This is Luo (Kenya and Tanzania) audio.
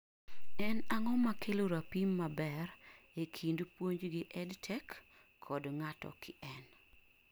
En ang'o makelo rapim maber ee kind puonj gi EdTech kod ng'ato kien?